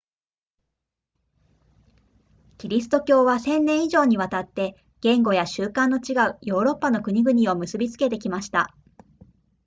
キリスト教は千年以上にわたって言語や習慣の違うヨーロッパの国々を結びつけてきました